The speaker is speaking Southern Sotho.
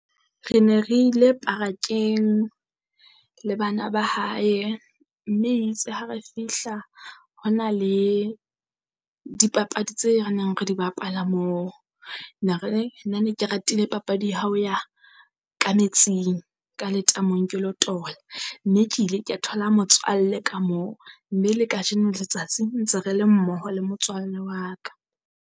Re ne re ile parakeng le bana ba hae, mme itse ha re fihla ho na le dipapadi tse re neng re di bapala moo. ne re nna ne ke ratile papadi ya ha o ya ka metsing ka letamong ke lo tola. Mme ke ile ka thola motswalle ka moo mme la kajeno letsatsi ntse re le mmoho le motswalle wa ka.